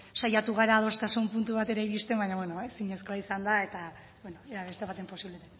saiatu gara adostasun puntu batera iristen baina beno ezinezkoa izan da eta ea beste batean posible